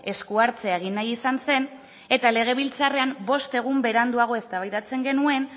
esku hartzea egin nahi izan zen eta legebiltzarrean bost egun beranduago eztabaidatzen genuen